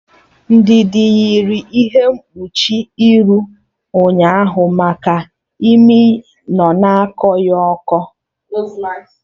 Ndidi yiri ihe mkpuchi iru ụnyaahụ maka imi nọ na akọ ya ụkọ